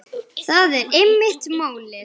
Það er einmitt málið.